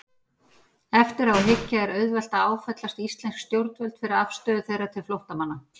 Eftir á að hyggja er auðvelt að áfellast íslensk stjórnvöld fyrir afstöðu þeirra til flóttamanna.